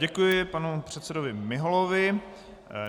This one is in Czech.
Děkuji panu předsedovi Miholovi.